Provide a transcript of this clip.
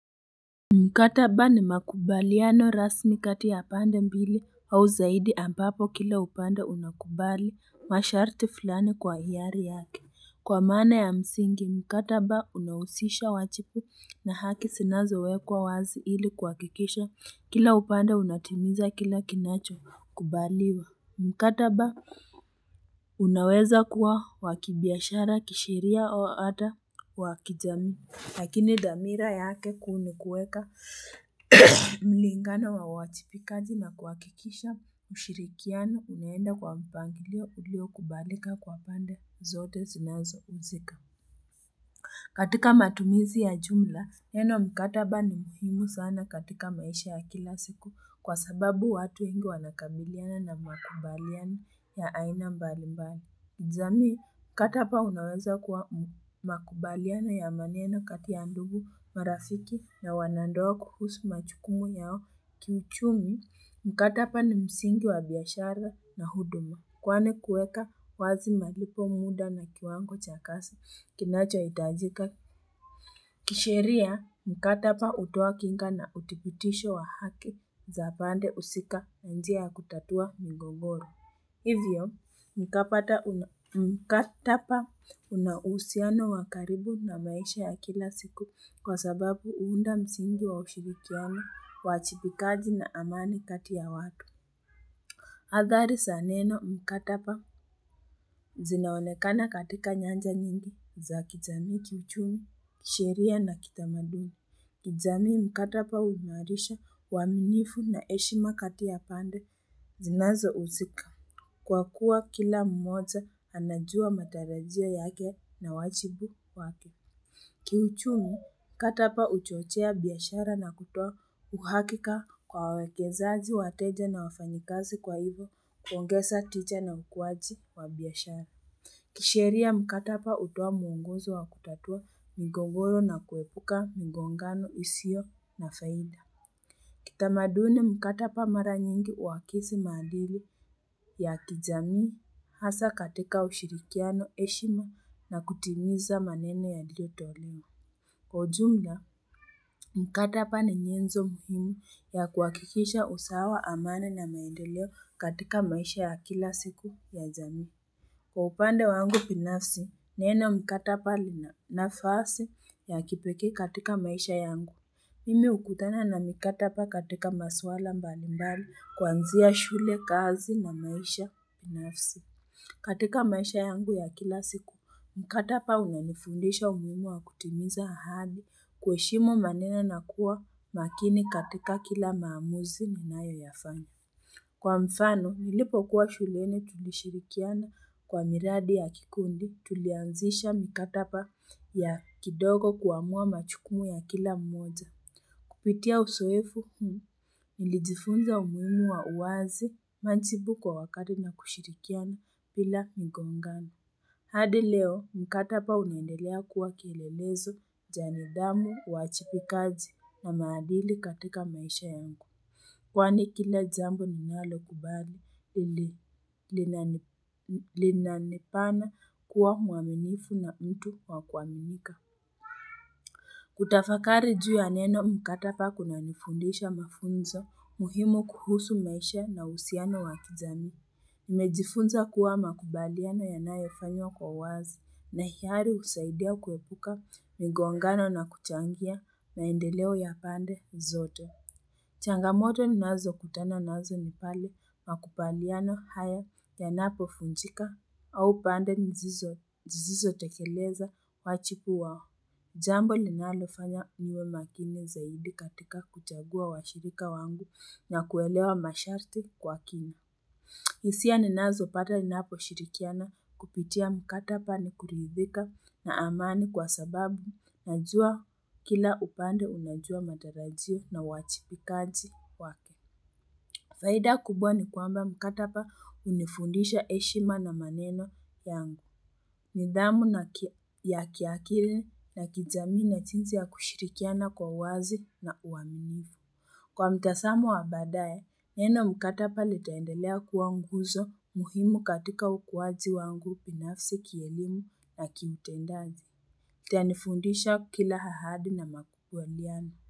Mkataba ni makubaliano rasmi kati ya pande mbili au zaidi ambapo kila upanda unakubali masharti fulani kwa hiyari yake kwa mana ya msingi mkataba unausisha wajibu na haki sinazo wekwa wazi ili kuhakikisha kila upanda unatimiza kila kinacho kubaliwa mkataba unaweza kuwa wakibiashara kisheria o ata wakijamii lakini dhamira yake kuu nikuweka mlingano wa uwachipikaji na kuhakikisha ushirikiano unenda kwa mpangilio ulio kubalika kwa pande zote zinazo uzika katika matumizi ya jumla neno mkataba ni mhimu sana katika maisha ya kilasiku kwasababu watu wengi wanakabiliana na makubaliano ya aina mbalimbali jamii katapa unaweza kuwa makubaliano ya maneno kati ya ndugu marafiki na wanandoa kuhusu majukumu yao kiuchumi mkataba ni msingi wa biashara na huduma kwani kuweka wazi malipo muda na kiwango chakasi kinachoitajika kishiria mkataba utoa kinga na utipitisho wa haki za pande usika na njia ya kutatua migogoro hivyo mkataba unausiano wakaribu na maisha ya kilasiku kwasababu uunda msingi wa ushirikiano uwachibikaji na amani kati ya watu hadhari saneno mkataba zinaonekana katika nyanja nyingi za kijamii kiuchumi sheria na kitamadini kijamii mkataba uhimarisha uwaminifu na eshima katia ya pande zinazo uzika kwa kuwa kila mmoja anajua matarajio yake na wajibu wake kiuchumi mkataba uchochea biashara na kutoa uhakika kwa wawekezaji wateja na wafanyakazi kwa hivyo kuongeza tija na ukuwaji wa biashara kisheria mkataba utoa muongozo wa kutatua migogoro na kuepuka migongano isiyo na faida kitamaduni mkataba mara nyingi huwakisi maadili ya kijamii hasa katika ushirikiano heshima na kutimiza maneno yaliyotolewa kwa ujumla mkataba ni nyenzo muhimu ya kuhakikisha usawa amani na maendeleo katika maisha ya kila siku ya jamii kwa upande wangu binafsi neno mkataba lina nafasi ya kipekee katika maisha yangu mimi hukutana na mikataba katika masuala mbalimbali kuanzia shule kazi na maisha binafsi katika maisha yangu ya kila siku mkataba unanifundisha umuhimu wa kutimiza ahadi kuheshimu maneno na kuwa makini katika kila maamuzi ninayoyafanya kwa mfano nilipokuwa shuleni tulishirikiana kwa miradi ya kikundi tulianzisha mikataba ya kidogo kuamua majukumu ya kila mmoja kupitia uzoefu huu nilijifunza umuhimu wa uwazi majibu kwa wakati na kushirikiana bila mgongano hadi leo mkataba uliendelea kuwa kilelezo cha nidhamu uwajibikaji na maadili katika maisha yangu kwani kila jambo ninalo kubali ili linanifanya kuwa muaminifu na mtu wakuaminika kutafakari juu ya neno mkataba kunanifundisha mafunzo muhimu kuhusu maisha na uhusiano wa kijamii nimejifunza kuwa makubaliano yanayofanywa kwa uwazi na hiari husaidia kuepuka migongano na kuchangia maendeleo ya pande zote changamoto ninazo kutana nazo ni pale makubaliano haya yanapovunjika au pande hizo zisizoteleleza wajibu wao jambo linalofanya niwe makini zaidi katika kuchagua washirika wangu na kuelewa masharti kwa kina hisia ninazopata ninaposhirikiana kupitia mkataba ni kuridhika na amani kwa sababu najua kila upande unajua matarajio na uwajibikaji wake faida kubwa ni kwamba mkataba hunifundisha heshima na maneno yangu nidhamu ya kiakili na kijamii na jinsi ya kushirikiana kwa uwazi na uaminifu kwa mtazamo wa badaye neno mkataba litaendelea kuwa nguzo muhimu katika ukuwaji wangu binafsi kielimu na kiutendaji tanifundisha kila ahadi na makubaliano.